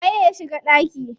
Waye ya shiga ɗaki?